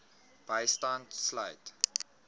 bystand sluit